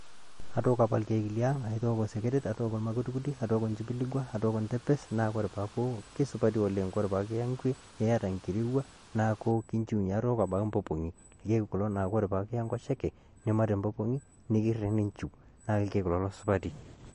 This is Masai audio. Atooko apa ilkeek liang' atooko seketek, atooko olmakutikuti, atooko ntimpilikua atooko ndepe kake wore kesupati oleng wore pekiyaa nkue niata nkirowuaj neaku ekinjiunyiee. atooko mpopong'i wore nkolong nikiya enkoshoke naaa ilkeek supati.